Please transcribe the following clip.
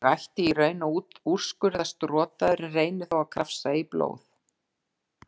Ég ætti í raun að úrskurðast rotaður en reyni þó að krafsa í blóð